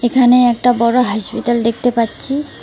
এখানে একটা বড় হসপিটাল দেখতে পাচ্ছি।